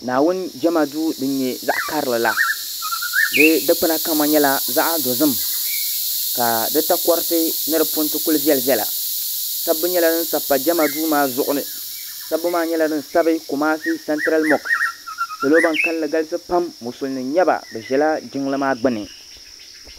naawuni jama du dini nyɛ zaɣ' karilila di dukpana kama nyɛla zaɣ dozim ka di tarotɛ dikpana kuli vilivila sabu nyɛla din sapa jama dumaa zuɣ ni sabu maa nyɛla dini sabi kɔmaasi sanitɛra moɣisi salo ban kalinli galisi pam be ʒɛla jimli maa gbani